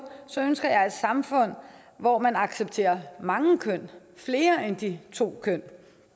ønsker jeg et samfund hvor man accepterer mange køn flere end de to køn